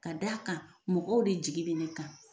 Ka d'a kan mɔgɔw de jigi bɛ ne kan .